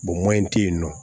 tɛ yen nɔ